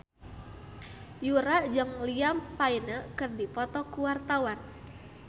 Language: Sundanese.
Yura jeung Liam Payne keur dipoto ku wartawan